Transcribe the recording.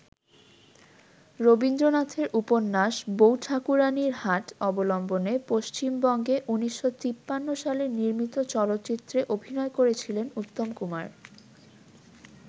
রবীন্দ্রনাথের উপন্যাস ‘বউ ঠাকুরানীর হাট’ অবলম্বনে পশ্চিমবঙ্গে ১৯৫৩ সালে নির্মিত চলচ্চিত্রে অভিনয় করেছিলেন উত্তম কুমার।